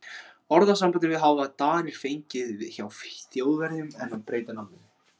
Orðasambandið hafa Danir fengið frá Þjóðverjum en breytt nafninu.